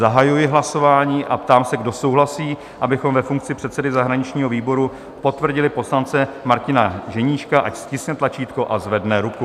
Zahajuji hlasování a ptám se, kdo souhlasí, abychom ve funkci předsedy zahraničního výboru potvrdili poslance Martina Ženíška, ať stiskne tlačítko a zvedne ruku.